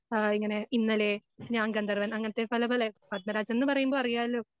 ഏഹ് ഇങ്ങനെ ഇന്നലെ ഞാൻ ഗന്ധർവ്വൻ അങ്ങനത്തെ പല പല പത്മരാജൻന്ന് പറയുമ്പോൾ അറിയാലോ?